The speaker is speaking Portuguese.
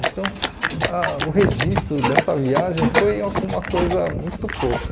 Então, ah o registro dessa viagem foi alguma coisa muito pouca.